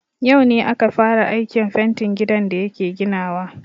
Yau ne aka fara aikin fentin gidan da yake ginawa.